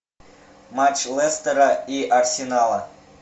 матч лестера и арсенала